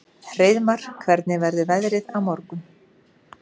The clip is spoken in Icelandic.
Hreiðmar, hvernig verður veðrið á morgun?